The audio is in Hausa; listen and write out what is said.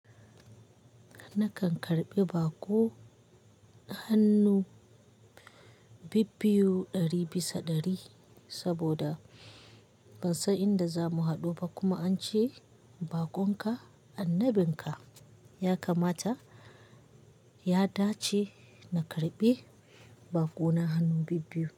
Nakan karɓi baƙo hannu bibbiyu ɗari bisa ɗari saboda ban san inda za mu haɗu ba kuma an ce bakon ka annabin ka. Ya kamata ya dace na karɓi bakona hannu bibbiyu.